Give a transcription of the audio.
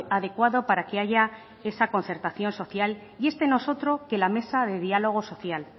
adecuado para que haya esa concertación social y este no es otro que la mesa de diálogo social